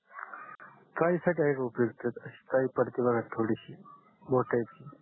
काय इफेक्ट आहे हो त्याच्या चाई पडते बगा थोडीसी बोटा इथकी